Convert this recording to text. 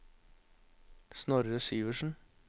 Snorre Syversen